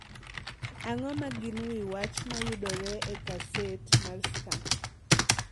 Ang’o ma gin wi wach ma yudore e gaset mar Star?